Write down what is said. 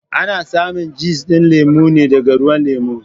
Ana samin juss din lemo ne daga ruwan lemo.